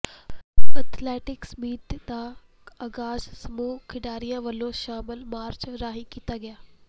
athletics meet ਦਾ ਆਗਾਜ਼ ਸਮੂਹ ਖਿਡਾਰੀਆਂ ਵੱਲੋਂ ਮਸ਼ਾਲ ਮਾਰਚ ਰਾਹੀਂ ਕੀਤਾ ਗਿਆ